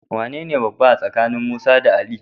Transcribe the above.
Wanene babba a tsakanin Musa da Ali?